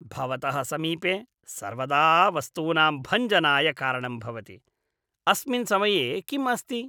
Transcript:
भवतः समीपे सर्वदा वस्तूनां भञ्जनाय कारणं भवति। अस्मिन् समये किम् अस्ति?